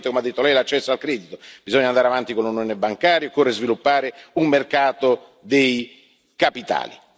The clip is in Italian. Poi, naturalmente, come ha detto Lei, l'accesso al credito bisogna andare avanti con l'Unione bancaria, occorre sviluppare un mercato dei capitali.